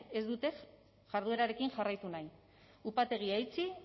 ez dute jarduerarekin jarraitu nahi upategia itxi